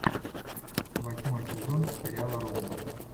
восьмой сезон сериала родина